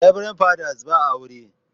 Reberend Father's ba aure.